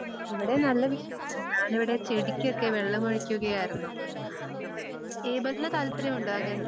ഇവിടെ നല്ല വിശേഷം. ഞാനിവിടെ ചെടികൊക്കെ വെള്ളമൊഴിക്കുകയായിരുന്നു. ഏബലിന് താല്പര്യമുണ്ടോ അങ്ങന